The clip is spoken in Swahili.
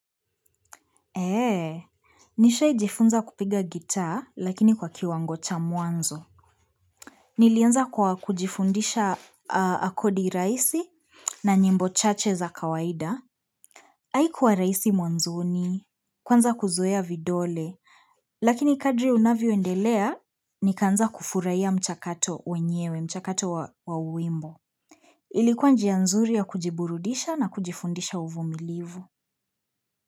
Eee Nishai jifunza kupiga gitaa lakini kwa kiwango cha mwanzo Nilianza kwa kujifundisha akodi rahisi na nyimbo chache za kawaida Haikuwa rahisi mwanzoni Kwanza kuzoea vidole Lakini kadri unavyoendelea nikaanza kufurahia mchakato wenyewe mchakato wa wimbo Ilikuwa njia nzuri ya kujiburudisha na kujifundisha uvu milivu.